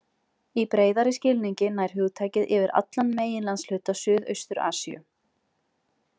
Í breiðari skilningi nær hugtakið yfir allan meginlandshluta Suðaustur-Asíu.